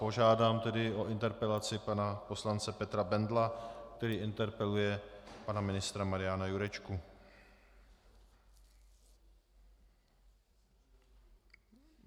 Požádám tedy o interpelaci pana poslance Petra Bendla, který interpeluje pana ministra Mariana Jurečku.